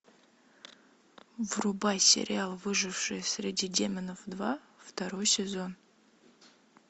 врубай сериал выжившие среди демонов два второй сезон